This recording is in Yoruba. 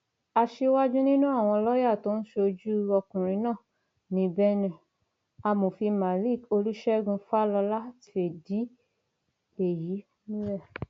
aṣíwájú nínú àwọn lọọyà tó ń ṣojú ọkùnrin náà ni benne amòfin malik olúṣẹgun falola ti fìdí èyí múlẹ